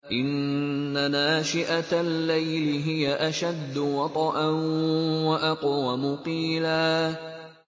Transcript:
إِنَّ نَاشِئَةَ اللَّيْلِ هِيَ أَشَدُّ وَطْئًا وَأَقْوَمُ قِيلًا